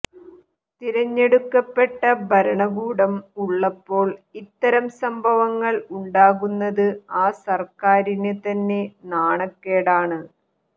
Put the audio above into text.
തിരഞ്ഞെടുക്കപ്പെട്ട ഭരണകൂടം ഉള്ളപ്പോൾ ഇത്തരം സംഭവങ്ങൾ ഉണ്ടാകുന്നത് ആ സർക്കാരിന് തന്നെ നാണക്കേടാണ്